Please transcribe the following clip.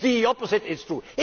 The opposite is true.